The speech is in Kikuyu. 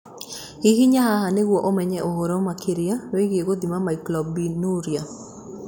Hihinya haha nĩguo ũmenye ũhoro makĩria wĩgiĩ gũthima myoglobinuria.